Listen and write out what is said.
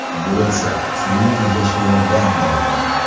Bu esa suvni tejashga yordam beradi”.